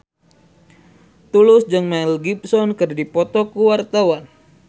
Tulus jeung Mel Gibson keur dipoto ku wartawan